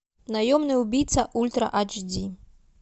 наемный убийца ультра ач ди